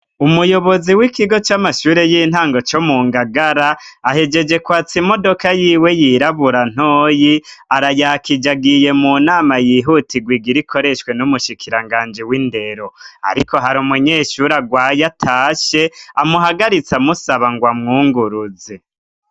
ulumuyobozi w'ikigo c'amashure y'intango co mu ngagara ahejeje kwatsa imodoka yiwe yirabura ntoyi arayakije agiye mu nama yihutigwa igire ikoreshwe n'umushikiranganji w'indero ariko hari umunyeshure agwaye atashe amuhagaritsa amusaba ngo amwunguruzi.